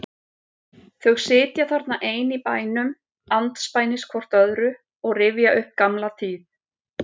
Þau sitja þarna ein í bænum andspænis hvort öðru og rifja upp gamla tíð.